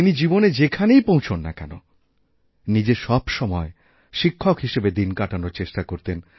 তিনি জীবনে যেখানেই পৌঁছন নাকেন নিজে সবসময় শিক্ষক হিসাবে দিন কাটানোর চেষ্টা করতেন